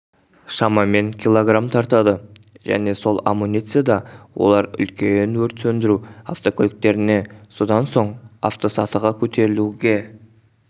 шамамен киллограмм тартады және сол амуницияда олар үлкен өрт сөндіру автокөліктеріне содан соң автосатыға көтерілуге